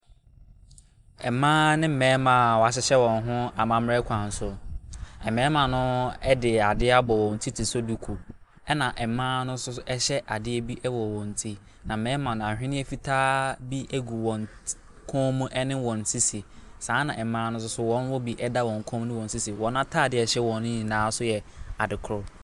Mmaa ne mmarima a wɔahyehyɛ wɔn ho amammerɛ kwan so. Mmarima no de adeɛ abɔ wɔn ti sɛ duku, ɛnna mmaa no nso hyɛ adeɛ bi wɔ wɔn ti, na mmarima no, ahwenneɛ fitaa bi gu wan ti kɔn mu ne wɔn sisi. Saa na mmaa no nso so wɔwɔ bi da wɔn kɔn ne wɔn sisi. Wɔn atadeɛ a ɛhyɛ wɔn no nyinaa nso yɛ adekorɔ.